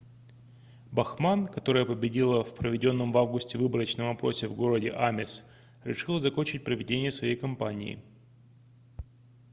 бахман которая победила в проведенном в августе выборочном опросе в городе амес решила закончить проведение своей кампании